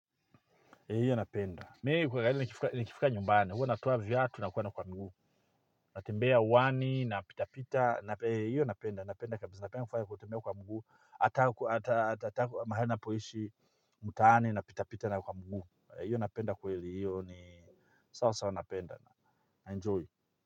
He hiyo napenda, mi kwa gari nikifika nyumbani, huwa natuoa viatu nakuenda kwa mguu, natembea wani, napitapita, he hiyo napenda, napenda kabisa, napenda kufanya kutembea kwa mguu, hata mahali napoishi mtaani napitapita na kwa mguu, hei hiyo napenda kweli hiyo ni sawa sawa napenda na, enjoy.